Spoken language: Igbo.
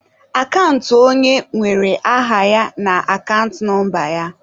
Akant onye nwere aha ya na akant nọmba ya.